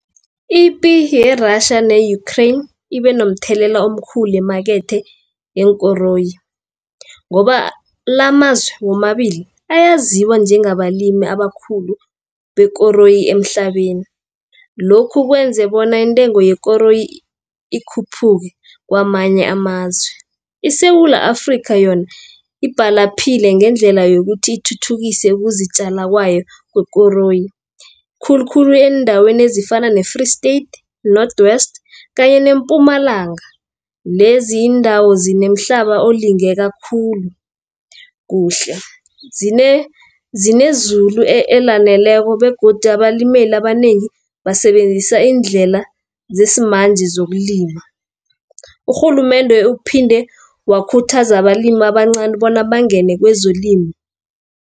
Ipi ye-Russia ne-Ukraine ibe nomthelela omkhulu emakethe yeenkoroyi, ngoba lamazwe womabili, ayaziwa njengabalimi abakhulu bekoroyi emhlabeni. Lokhu kwenza bona intengo yekoroyi ikhuphuke kwamanye amazwe. ISewula Afrika yona ibhalaphile ngendlela yokuthi ithuthukise ukuzitjala kwayo kwekoroyi, khulukhulu eendaweni ezifana ne-Free State, Northwest kanye ne-Mpumalanga, lezi iindawo zinemhlaba olingeka khulu zinezulu elaneleko, begodi abalimeli abanengi basebenzisa iindlela zesimanje zokulima. Urhulumende uphinde wakhuthaza abalimi abancani bona bangene kwezolimo.